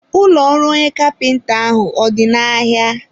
ụlọ ọrụ onye kapịnta ahụ ọ dị n'ahịa?